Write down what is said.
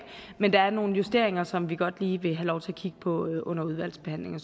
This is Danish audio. men der er nogle justeringer som vi godt lige vil have lov til at kigge på under udvalgsbehandlingen